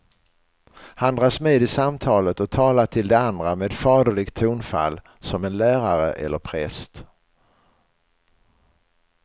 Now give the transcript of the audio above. Han dras med i samtalet och talar till de andra med faderligt tonfall, som en lärare eller präst.